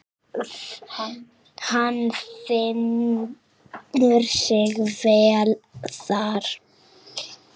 Hann finnur sig vel þar.